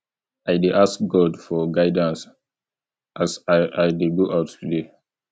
i dey ask god for guidance as i i dey go out today